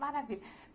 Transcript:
Maravilha!